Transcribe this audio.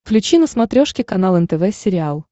включи на смотрешке канал нтв сериал